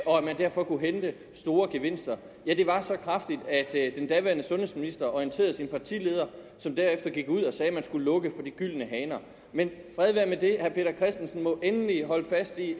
og at man derfor kunne hente store gevinster ja de var så kraftige at den daværende sundhedsminister orienterede sin partileder som derefter gik ud og sagde at man skulle lukke for de gyldne haner men fred være med det herre peter christensen må endelig holde fast i